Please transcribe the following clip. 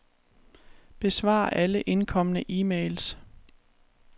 Besvar alle indkomne e-mails.